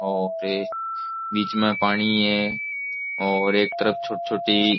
और ये बीच में पाणी है और एक तरफ छोटी छोटी --